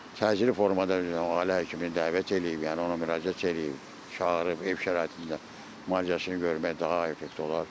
təcili formada ailə həkimini dəvət eləyib, yəni ona müraciət eləyib, çağırıb, ev şəraitində müalicəsini görmək daha effektiv olar.